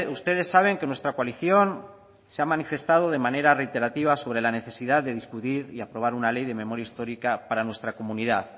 ustedes saben que nuestra coalición se ha manifestado de manera reiterativa sobre la necesidad de discutir y aprobar una ley de memoria histórica para nuestra comunidad